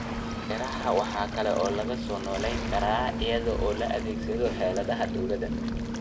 Beeraha waxa kale oo lagu soo noolayn karaa iyada oo la adeegsanayo xeeladaha dawladda.